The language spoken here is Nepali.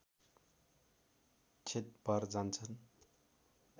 क्षत भर जान्छन्